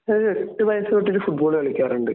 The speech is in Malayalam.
ഞാൻ ഒരു എട്ട് വയസ്സ് തൊട്ടിട്ടു ഫുട്ബാൾ കളിക്കാറുണ്ട്